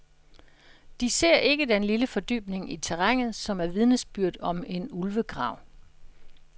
De ser ikke den lille fordybning i terrænet, som er vidnesbyrd om en ulvegrav.